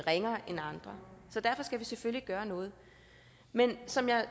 ringere end andre så derfor skal vi selvfølgelig gøre noget men som jeg